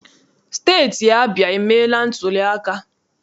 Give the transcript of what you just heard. Steeti Abịa emeela ntuliaka.